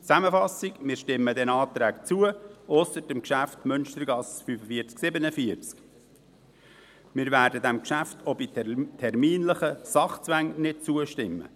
Zusammenfassung: Wir stimmen diesen Anträgen zu, ausser dem Geschäft Münstergasse 45/47. Wir werden diesem Geschäft auch bei terminlichen Sachzwängen nicht zustimmen.